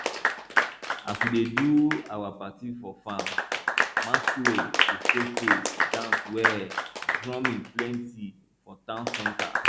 as we dey do our party for farm masquerade go show face dance well drumming plenty for town center